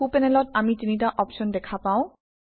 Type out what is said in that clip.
সোঁ পেনেলত আমি তিনিটা অপশ্যন দেখা পাওঁ